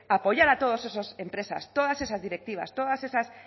apoyar a todas esas empresas todas esas directivas todas esas